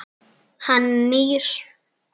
Hann nýr.